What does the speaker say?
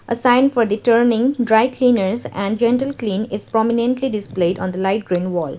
a sign for the turning dry cleaners and gentle clean is prominently displayed on the light green wall.